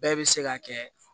Bɛɛ bɛ se ka kɛ